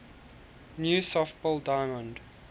new softball diamond